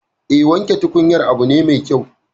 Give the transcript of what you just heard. Eh, wanke tukunyar abu ne mai kyau